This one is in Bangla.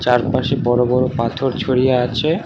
চারপাশে বড় বড় পাথর ছড়িয়ে আছে।